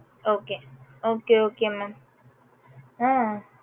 okay okay okay mam ah